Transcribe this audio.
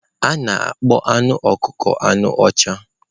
A na-akpọ anụ ọkụkọ anụ ọcha.